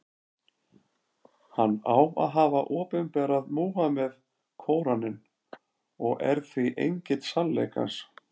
Hann á að hafa opinberað Múhameð Kóraninn, og er því engill sannleikans.